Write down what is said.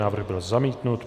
Návrh byl zamítnut.